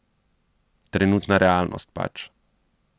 Trenutna realnost pač.